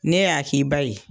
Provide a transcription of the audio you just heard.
Ne y'a k'i ba ye